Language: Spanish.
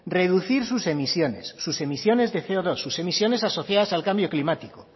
reducir sus emisiones sus emisiones de ce o dos sus emisiones asociadas al cambio climático